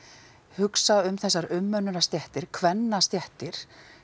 hugsa um þessar umönnunarstéttir kvennastéttir